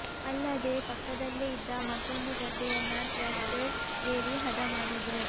ಅಲ್ಲದೇ ಪಕ್ಕದಲ್ಲೇ ಇದ್ದ ಮತ್ತೊಂದು ಗದ್ದೆಯನ್ನ ಟ್ರಾಕ್ಟರ್ ಏರಿ ಹದ ಮಾಡಿದ್ರು